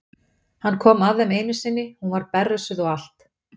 Hann kom að þeim einu sinni, hún var berrössuð og allt.